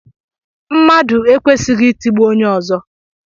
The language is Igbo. Mmadụ ekwesighi itigbu onye ọzọ.